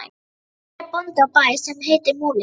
Hann er bóndi á bæ sem heitir Múli.